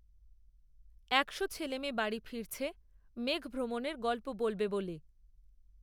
একশো ছেলেমেয়ে বাড়ি ফিরছে মেঘভ্রমণের গল্প বলবে বলে